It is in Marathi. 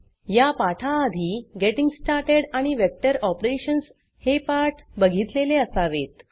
या पाठाआधी गेटिंग startedगेटिंग स्टार्टेड आणि व्हेक्टर Operationsवेक्टर ऑपरेशन्स हे पाठ बघितलेले असावेत